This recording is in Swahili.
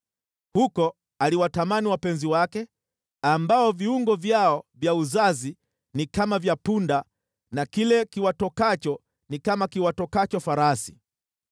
Huko aliwatamani wapenzi wake, ambao viungo vyao vya uzazi ni kama vya punda, na kile kiwatokacho ni kama kiwatokacho farasi.